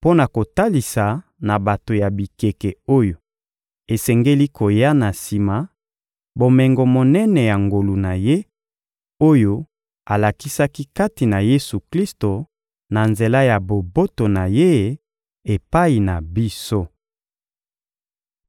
mpo na kotalisa na bato ya bikeke oyo esengeli koya na sima, bomengo monene ya ngolu na Ye, oyo alakisaki kati na Yesu-Klisto na nzela ya boboto na Ye epai na biso.